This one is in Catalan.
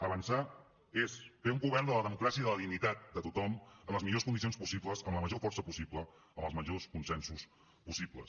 avançar és fer un govern de la democràcia i de la dignitat de tothom en les millors condicions possibles amb la major força possible amb els majors consensos possibles